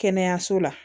Kɛnɛyaso la